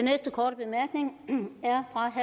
her